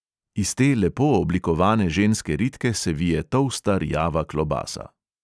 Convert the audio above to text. Iz te lepo oblikovane ženske ritke se vije tolsta rjava klobasa.